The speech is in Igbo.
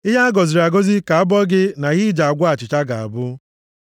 Ihe a gọziri agọzi ka abọ gị na ihe i ji agwọ achịcha ga-abụ.